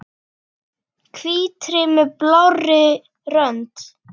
Hvítri með blárri rönd.